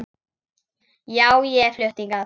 Já, ég er flutt hingað.